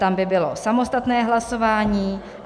Tam by bylo samostatné hlasování.